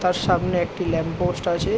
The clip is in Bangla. তার সামনে একটি ল্যাম্প পোস্ট আছে।